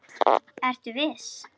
Ertu viss?